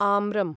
आम्रम्